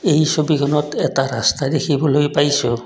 এই ছবিখনত এটা ৰাস্তা দেখিবলৈ পাইছোঁ।